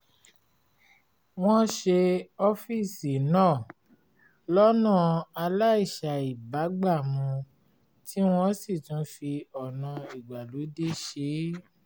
wọ́n ṣe ọ́fíìsì náà lọ́nà aláìṣàìbágbàmu tí wọ́n sì tún fi ọ̀nà ìgbàlódé ṣe é